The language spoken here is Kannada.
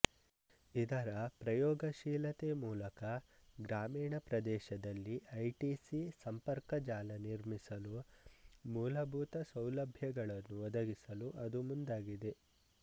ಇದರ ಪ್ರಯೋಗಶೀಲತೆ ಮೂಲಕ ಗ್ರಾಮೀಣ ಪ್ರದೇಶದಲ್ಲಿ ಐಟಿಸಿ ಸಂಪರ್ಕ ಜಾಲ ನಿರ್ಮಿಸಲು ಮೂಲಭೂತ ಸೌಲಭ್ಯಗಳನ್ನು ಒದಗಿಸಲು ಅದು ಮುಂದಾಗಿದೆ